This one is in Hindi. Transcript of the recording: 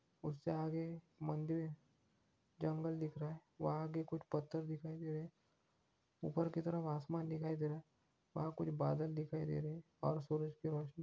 उससे आगे मंदिर जंगल दिख रहा है वह आगे कुछ पत्थर दिखाई दे रहे हैं ऊपर की तरफ आसमान दिखाई दे रहा है वहां कुछ बदल दिखाई दे रहे हैं और सूरज की रोशनी